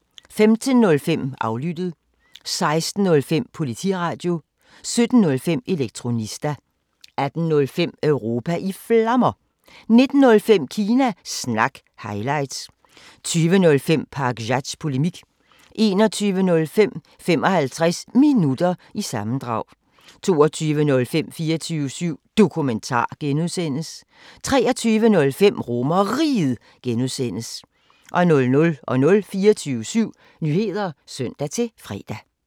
15:05: Aflyttet 16:05: Politiradio 17:05: Elektronista 18:05: Europa i Flammer 19:05: Kina Snak – highlights 20:05: Pakzads Polemik 21:05: 55 Minutter – sammendrag 22:05: 24syv Dokumentar (G) 23:05: RomerRiget (G) 00:00: 24syv Nyheder (søn-fre)